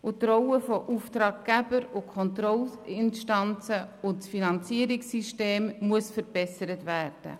Die Rollen von Auftraggeber und Kontrollinstanzen sowie das Finanzierungssystem müssen verbessert werden.